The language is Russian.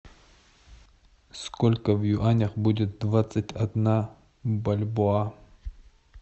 сколько в юанях будет двадцать одна бальбоа